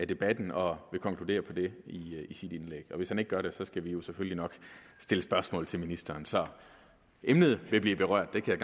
debatten og vil konkludere på det i sit indlæg hvis han ikke gør det skal vi vi selvfølgelig nok stille spørgsmål til ministeren så emnet vil blive berørt det kan